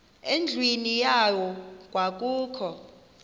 endlwini yayo kwakukho